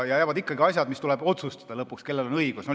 Ikkagi jäävad asjad, mille puhul tuleb lõpuks otsustada, kellel on õigus.